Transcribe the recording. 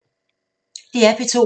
DR P2